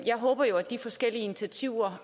jeg håber at de forskellige initiativer